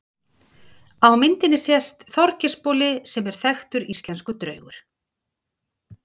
Á myndinni sést Þorgeirsboli sem er þekktur íslenskur draugur.